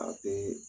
A bee